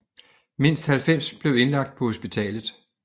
Mindst 90 blev indlagt på hospitalet